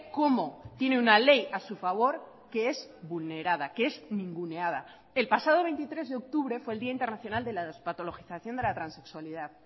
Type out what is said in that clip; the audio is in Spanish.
cómo tiene una ley a su favor que es vulnerada que es ninguneada el pasado veintitrés de octubre fue el día internacional de la despatologización de la transexualidad